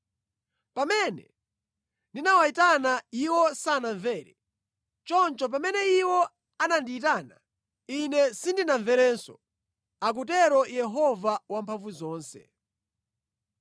“ ‘Pamene ndinawayitana, iwo sanamvere; choncho pamene iwo anandiyitana, Ine sindinamverenso,’ akutero Yehova Wamphamvuzonse.